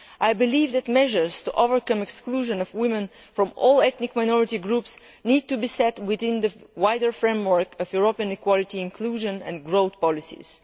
I believe that measures to overcome the exclusion of women belonging to all ethnic minority groups need to be set within the wider framework of European equality, inclusion and growth policies.